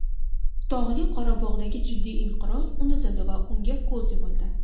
Tog‘li Qorabog‘dagi jiddiy inqiroz unutildi va unga ko‘z yumildi.